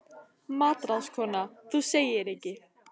MATRÁÐSKONA: Þú segir ekki!